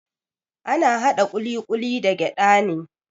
Ana haɗa ƙuliƙuli da gyada ne.